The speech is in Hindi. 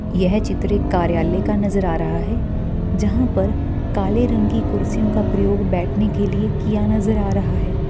यह चित्र एक कार्यालय का नज़र आ रहा है जहां पर काले रंग की कुर्सियों का प्रयोग बैठने के लिये किया नज़र आ रहा हैं।